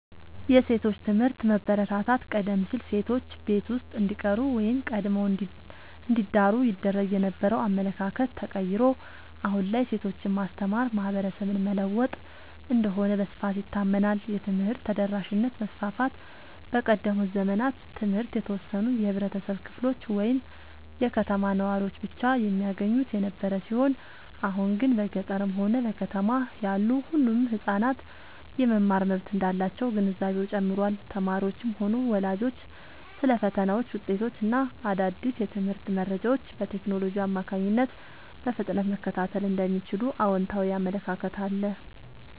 የሴቶች ትምህርት መበረታታት፦ ቀደም ሲል ሴቶች ቤት ውስጥ እንዲቀሩ ወይም ቀድመው እንዲዳሩ ይደረግ የነበረው አመለካከት ተቀይሮ፣ አሁን ላይ ሴቶችን ማስተማር ማህበረሰብን መለወጥ እንደሆነ በስፋት ይታመናል። የትምህርት ተደራሽነት መስፋፋት፦ በቀደሙት ዘመናት ትምህርት የተወሰኑ የህብረተሰብ ክፍሎች ወይም የከተማ ነዋሪዎች ብቻ የሚያገኙት የነበረ ሲሆን፣ አሁን ግን በገጠርም ሆነ በከተማ ያሉ ሁሉም ህጻናት የመማር መብት እንዳላቸው ግንዛቤው ጨምሯል። ተማሪዎችም ሆኑ ወላጆች ስለ ፈተናዎች፣ ውጤቶች እና አዳዲስ የትምህርት መረጃዎች በቴክኖሎጂ አማካኝነት በፍጥነት መከታተል እንደሚችሉ አዎንታዊ አመለካከት አለ።